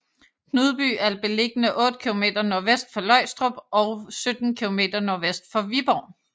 Knudby er beliggende otte kilometer nordvest for Løgstrup og 17 kilometer nordvest for Viborg